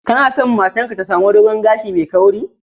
Kuna sa matar ka ta sami dogon gashi mai kauri?